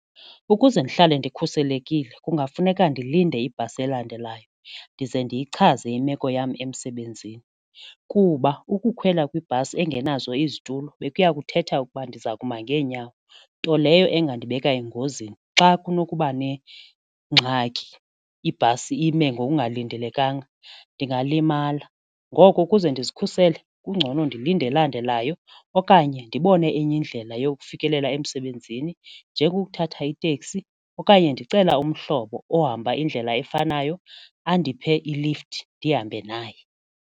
Ukuze ndihlale ndikhuselekile kungafuneka ndilinde ibhasi elandelayo ndize ndiyichaze imeko yam emsebenzini kuba ukukhwela kwibhasi engenazo izitulo bekuya kuthetha ukuba ndiza kuma ngeenyawo nto leyo engandibeka engozini xa kunokubane ingxaki ibhasi ime ngokungalindelekanga, ndingalimala. Ngoko ukuze ndizikhusele kungcono ndilinde elandelayo okanye ndibone enye indlela yokufikelela emsebenzini njengokuthatha iteksi okanye ndicela umhlobo ohamba indlela efanayo andiphe i-lift ndihambe naye.